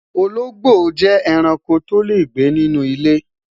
olongbo je eranko to le gbe inú ile